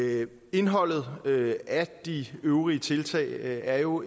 indholdet af de øvrige tiltag er jo